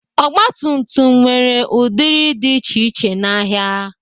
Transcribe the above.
Ọgbatumtum nwere ụdịrị dị iche iche n'ahịa.